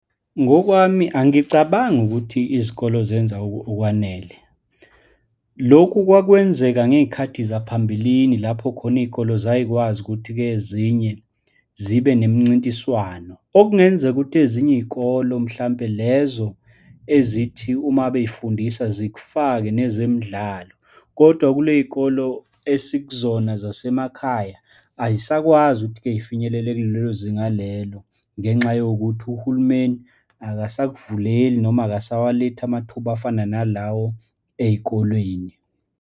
Ngokwami angicabangi ukuthi izikole zenza okwanele. Lokhu kwakwenzeka ngeyikhathi zaphambilini lapho khona iyikole zayikwazi ukuthi-ke ezinye zibe nemincintiswano, okungenzeka ukuthi ezinye iyikolo, mhlampe lezo ezithi uma beyifundisa, zikufake nezemidlalo. Kodwa kule yikolo esikuzona zasemakhaya, ayisakwazi ukuthi-ke zifinyelele kulelo zinga lelo ngenxa yokuthi uhulumeni akasavuleli, noma akasawalethi amathuba afana nalawo eyikolweni.